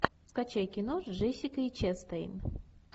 скачай кино с джессикой честейн